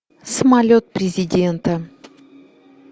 самолет президента